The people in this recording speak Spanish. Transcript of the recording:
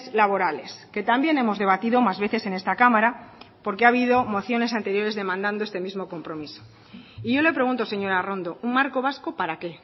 laborales que también hemos debatido más veces en esta cámara porque ha habido mociones anteriores demandando este mismo compromiso y yo le pregunto señora arrondo un marco vasco para qué